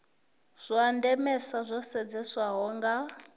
zwa ndemesa zwo sedzeswaho nga